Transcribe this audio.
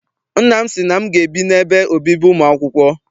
Nna m sị na m ga- ebi n'ebe obibi ụmụ akwụkwọ.